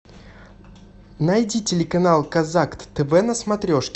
найди телеканал казак тв на смотрешке